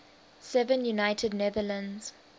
seven united netherlands